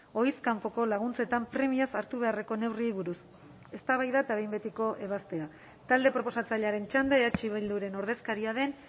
ohiz kanpoko laguntzetan premiaz hartu beharreko neurriei buruz eztabaida eta behin betiko ebazpena talde proposatzailearen txanda eh bilduren ordezkaria den